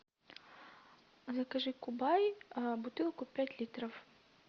закажи кубай бутылку пять литров